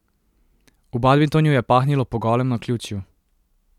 V badminton jo je pahnilo po golem naključju.